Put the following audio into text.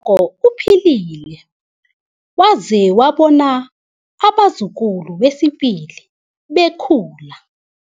o uphilile waze wabona abazukulu besibili bekhula.